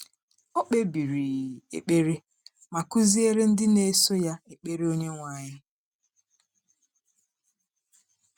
Ọ kpebiri ekpere ma kụziere ndị na-eso Ya Ekpere Onyenwe anyị: